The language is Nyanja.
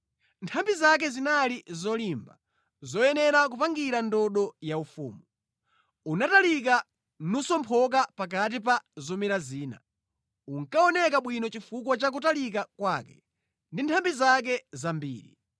Nthambi zake zinali zolimba, zoyenera kupangira ndodo yaufumu. Unatalika nusomphoka pakati pa zomera zina. Unkaoneka bwino chifukwa cha kutalika kwake, ndi nthambi zake zambiri.